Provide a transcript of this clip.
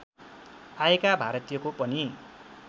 आएका भारतीयको पनि